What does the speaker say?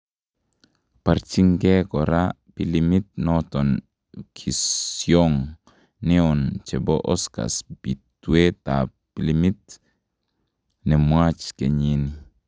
Barchinkee koraa pilimit noton pkisyoong neon chebo Oscars bitweetab pilimiit nenwach kenyinii.